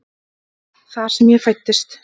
Þar sem ég fæddist.